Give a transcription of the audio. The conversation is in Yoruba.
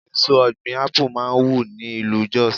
Èso ọ̀gbìn Ápù máa wù ní ìlú Jos.